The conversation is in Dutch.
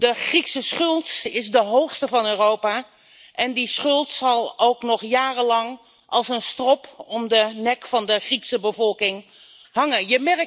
De Griekse schuld is de hoogste in Europa en die schuld zal nog jarenlang als een strop om de nek van de Griekse bevolking hangen.